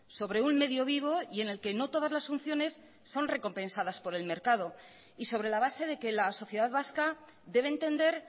sobre un medio vivo y en el que no todas las funciones son recompensadas por el mercado y sobre la base de que la sociedad vasca debe entender